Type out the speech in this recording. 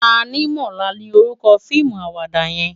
Tanimola ni órúkò fiimú àwàdá yèn